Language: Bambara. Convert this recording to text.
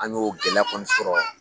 An ɲ'o gɛlɛya kɔni sɔrɔ